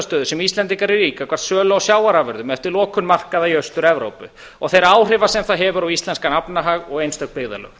íslendingar eru í gagnvart sölu á sjávarafurðum eftir lokun markaða í austur evrópu og þeirra áhrifa sem það hefur á íslenskan efnahag og einstök byggðarlög